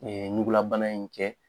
Ee nugulabana in cɛ